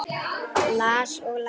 Las og las.